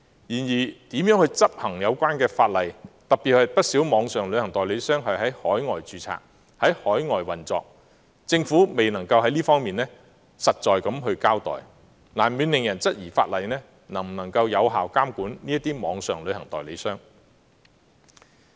然而，至於如何執行有關法例，特別是不少網上旅行代理商是在海外註冊及在海外運作，政府至今仍未能作出實在的交代，難免令人質疑法例能否有效監管這些網上旅行代理商。